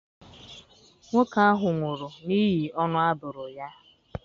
Nwoke ahụ nwụrụ n'ihi ọnụ a bụrụ ya.